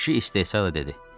Kişi istehza dedi.